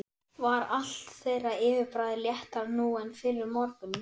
Var allt þeirra yfirbragð léttara nú en fyrr um morguninn.